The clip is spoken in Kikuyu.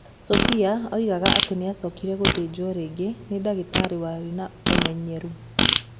Sophie oigaga atĩ nĩ aacokire gũthĩnjwo rĩngĩ nĩ ndagĩtarĩ warĩ na ũmenyeru.